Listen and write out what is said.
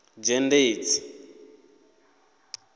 dzhendedzi